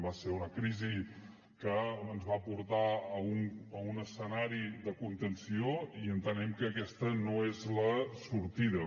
va ser una crisi que ens va portar a un escenari de contenció i entenem que aquesta no és la sortida